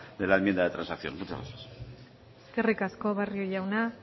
de la enmienda de transacción muchas gracias eskerrik asko barrio jauna